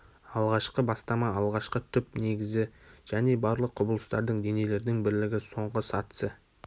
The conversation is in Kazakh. алғашқы бастама алғашқы түп негізі және барлық құбылыстардың денелердің бірлігі соңғы сатысы